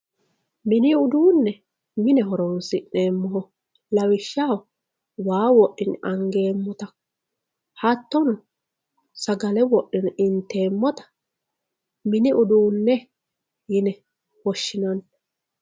mini uduunne mine horoonsi'neemmoho lawishshaho waa wodhine angeemmota hattono sagale wodhine inteemmota mini uduunne yine woshshinanni.